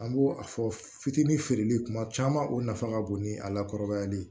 An b'o a fɔ fitinin feereli kuma caman o nafa ka bon ni a lakɔrɔbayali ye